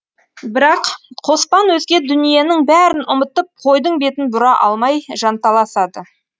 бірақ қоспан өзге дүниенің бәрін ұмытып қойдың бетін бұра алмай жанталасады